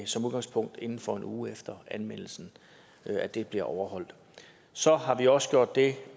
som udgangspunkt inden for en uge efter anmeldelsen bliver overholdt så har vi også gjort det